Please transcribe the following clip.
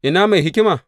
Ina mai hikima?